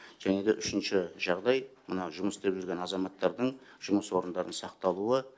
және де үшінші жағдай мына жұмыс істеп жүрген азаматтардың жұмыс орындарының сақталуы